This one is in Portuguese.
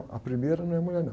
A primeira não é mulher, não.